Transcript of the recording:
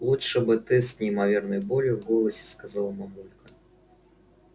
лучше бы ты с неимоверной болью в голосе сказала мамулька